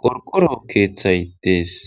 qorqoro sohoy dees.